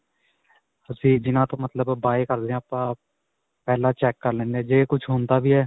ਤੁਸੀਂ ਜਿਨ੍ਹਾਂ ਤੋ ਮਤਲਬ buy ਕਰਦੇ ਹੋ. ਆਪਾਂ ਪਹਿਲਾਂ ਚੈਕ ਕਰ ਲੈਂਦੇ ਹੈ, ਜੇ ਕੁੱਝ ਹੁੰਦਾ ਵੀ ਹੈ.